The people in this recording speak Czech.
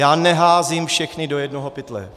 Já neházím všechny do jednoho pytle.